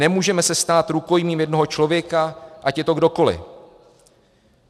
Nemůžeme se stát rukojmím jednoho člověka, ať je to kdokoli.